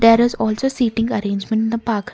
there is also seating arrangement in the park.